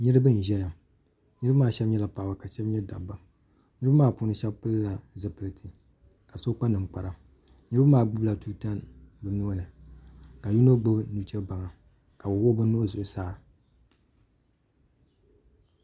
Niriba n zɛya niriba maa shɛba nyɛla paɣaba ka shɛba nyɛ dabba niriba maa puuni shɛba pili la zopiliti ka so kpa ninkpara yino maa gbubi la tuuta o nuuni ka yino gbibi nuchɛbaŋa ka bi wuɣi bi nuhi zuɣusaa.